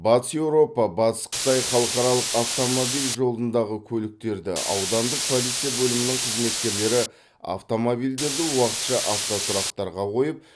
батыс еуропа батыс қытай халықаралық автомобиль жолындағы көліктерді аудандық полиция бөлімінің қызметкерлері автомобильдерді уақытша автотұрақтарға қойып